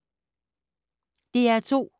DR2